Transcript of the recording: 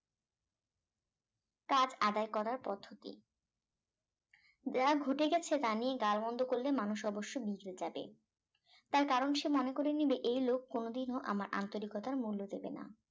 কাজ আদায় করার পদ্ধতি যা ঘটে গেছে তা নিয়ে গাল মন্দ করলে মানুষ অবশ্যই বিগড়ে যাবে তার কারণ সে মনে করে নেবে এই লোক কোন দিনও আমার আন্তরিকতার মূল্য দেবে না